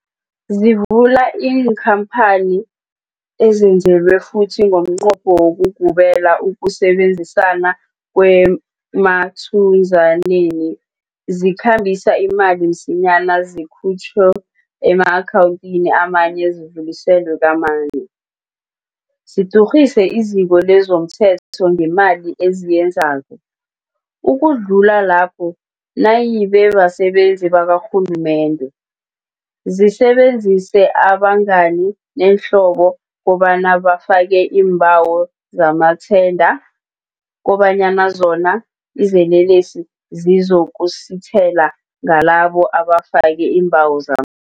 Zivula iinkhampani ezenzelwe futhi ngomnqopho wokugubela ukusebenzisana kwema thunzaneni, zikhambise imali msinyana zikhutjhwa ema-akhawundini amanye zidluliselwe kamanye, zidurhise iziko lezomthelo ngemali eziyenzako, ukudlula lapho, nayibe basebenzi bakarhulumende, zisebenzise abangani neenhlobo kobana bafake iimbawo zamathenda, kobanyana zona, izelelesi, zizokusithela ngalaba abafake iimbawo zama